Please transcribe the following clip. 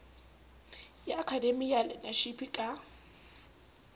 ya akademiki ya learnership ka